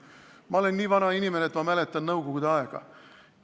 Ma olen nii vana inimene, et ma mäletan nõukogude aega.